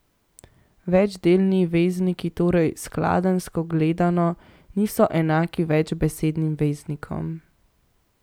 Večdelni vezniki torej skladenjsko gledano niso enaki večbesednim veznikom.